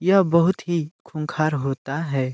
यह बहुत ही खूंखार होता है।